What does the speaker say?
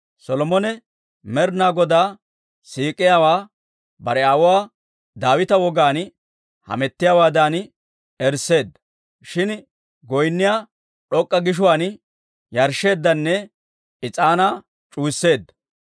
Solomone Med'inaa Godaa siik'iyaawaa bare aawuwaa Daawita wogaan hamettiyaawaadan eriseedda; shin goynniyaa d'ok'k'a gishuwaan yarshsheeddanne is'aanaa c'uwisseedda.